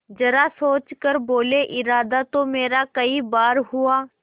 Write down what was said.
जरा सोच कर बोलेइरादा तो मेरा कई बार हुआ